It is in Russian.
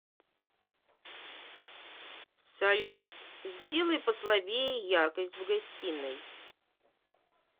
салют сделай послабее яркость в гостиной